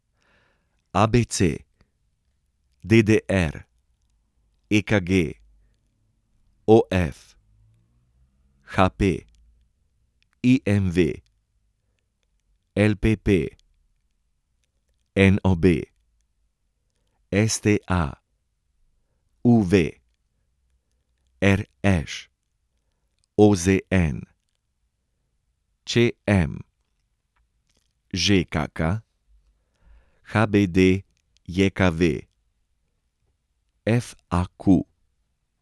ABC, DDR, EKG, OF, HP, IMV, LPP, NOB, STA, UV, RŠ, OZN, ČM, ŽKK, HBDJKV, FAQ.